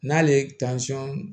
N'ale ye